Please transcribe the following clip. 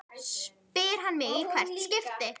spyr hann mig í hvert skipti.